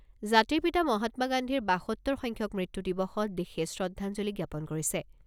জাতিৰ পিতা মহাত্মা গান্ধীৰ বাসত্তৰ সংখ্যক মৃত্যু দিৱসত দেশে শ্ৰদ্ধাঞ্জলি জ্ঞাপন কৰিছে।